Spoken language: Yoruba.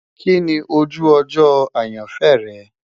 Kini oju ojo ayanfẹ rẹ?